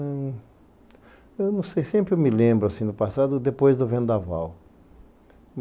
Eu não sei, sempre me lembro, no passado, depois do Vendaval.